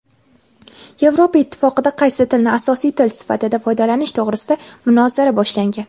Yevropa Ittifoqida qaysi tilni asosiy tili sifatida foydalanish to‘g‘risida munozara boshlangan.